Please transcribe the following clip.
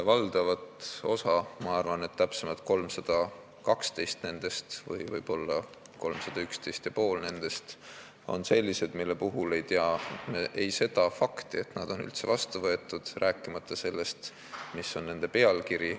Valdav osa – ma arvan, et täpsemalt 312 või 311 ja pool nendest – on sellised, mille puhul ei teata seda fakti, et need on üldse vastu võetud, rääkimata sellest, mis on nende pealkiri.